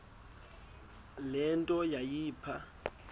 le nto yayipha